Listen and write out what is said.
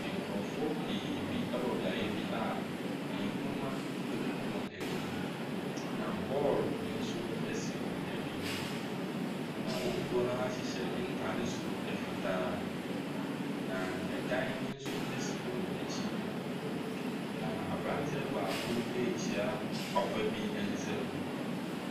Nkorɔfoɔ pii bi ɛwɔ beaeɛ bi a nnwoma egugu wɔn anim. Na bɔɔl nso esi wɔn anim. Na wɔm dodoɔ naa hyehyɛ ntaade soro fitaa na ɛdan nso esi wɔn ɛkyi. Na abranteɛ baako rekyea papa bi nsam.